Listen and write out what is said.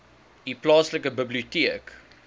u plaaslike biblioteek